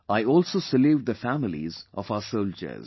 I also salute the families of our soldiers